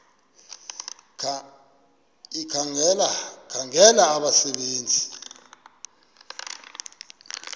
ekhangela abasebe nzi